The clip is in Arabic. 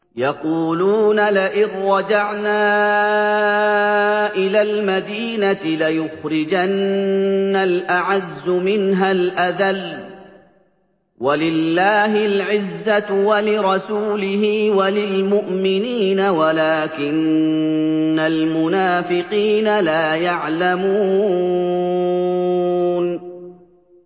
يَقُولُونَ لَئِن رَّجَعْنَا إِلَى الْمَدِينَةِ لَيُخْرِجَنَّ الْأَعَزُّ مِنْهَا الْأَذَلَّ ۚ وَلِلَّهِ الْعِزَّةُ وَلِرَسُولِهِ وَلِلْمُؤْمِنِينَ وَلَٰكِنَّ الْمُنَافِقِينَ لَا يَعْلَمُونَ